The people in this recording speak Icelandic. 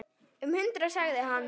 Um hundrað sagði hann.